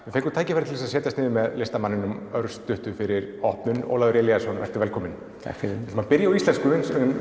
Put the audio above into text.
við fengum tækifæri til að setjast niður með listamanninum örstuttu fyrir opnun Ólafur Elíasson vertu velkominn takk fyrir við ætlum að byrja á íslensku en